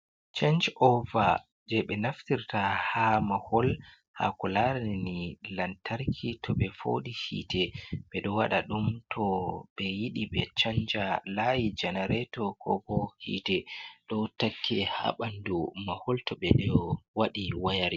Change over jei ɓe naftirta ha mahol ha ko larini Hite lamtarki, toh ɓe fooɗi hite beɗo waɗa ɗum, toh ɓe yiɗi ɓe chanja layi janaretor ko hite, toh ɗo takki ha ɓandu mahol toh ɓeɗo waɗa wayarin.